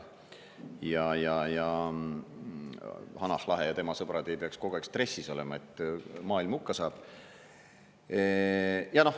Hanah Lahe ja tema sõbrad ei peaks kogu aeg stressis olema, et maailm hukka saab.